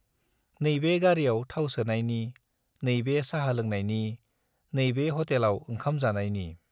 नैबे गारियाव थाव सोनायनि, नैबे चाहा लोंनायनि, नैबे हटेलाव ओंखाम जानायनि।